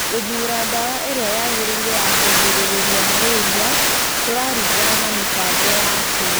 Gũthuura ndawa ĩrĩa yagĩrĩire ya kũgirĩrĩria malaria kũraringana na mĩbango yaku.